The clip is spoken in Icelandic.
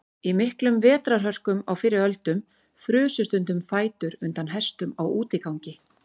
Í miklum vetrarhörkum á fyrri öldum frusu stundum fætur undan hestum á útigangi.